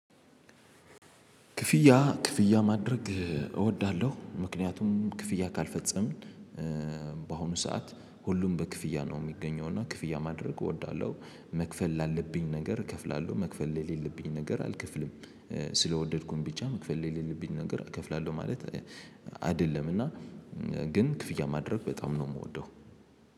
ክፍያ ክፍያ ማድረግ እወዳለሁ ምክንያቱም ክፍያ ካልፈጸምን በአሁኑ ሰዓት ሁሉም በክፍያ ነው የሚገኘው እና ክፍያ ማድረግ እወዳለሁ። መክፈል ላለብኝ ነገር እከፍላለሁ መክፈል ላይ የሌለብኝ ነገር አልክፍልም። ስለወደድኩኝ ብቻ መክፈል የሌለብኝ ነገር እከፍላለሁ ማለት አይደለም። እና ግን ክፍያ ማድረግ በጣም ነው የምወደው።